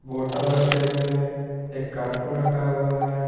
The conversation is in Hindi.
बोटल रखे हुए हैं एक कार्टून रखा हुआ है।